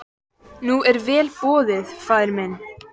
Nú er vel boðið faðir minn.